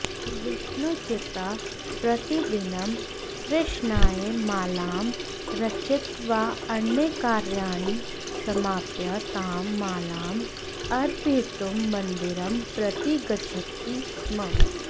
विष्णुचित्तः प्रतिदिनं कृष्णाय मालां रचयित्वा अन्यकार्याणि समाप्य तां मालां अर्पयितुं मन्दिरं प्रति गच्छति स्म